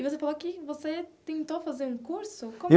E você falou que você tentou fazer um curso.